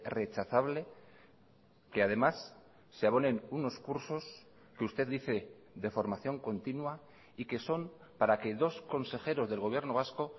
rechazable que además se abonen unos cursos que usted dice de formación continua y que son para que dos consejeros del gobierno vasco